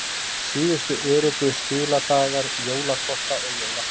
Síðustu öruggu skiladagar jólakorta og jólapakka